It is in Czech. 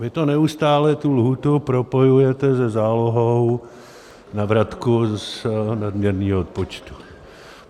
Vy neustále tu lhůtu propojujete se zálohou na vratku z nadměrného odpočtu.